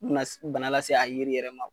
Bana s bana lase se a yiri yɛrɛ ma.